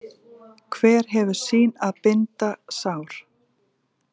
Hver hefur sín að binda sár.